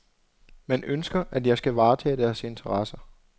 Man ønsker, at jeg skal varetage deres interesser.